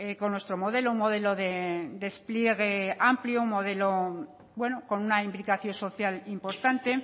con nuestro modelo un modelo de despliegue amplio un modelo bueno con una implicación social importante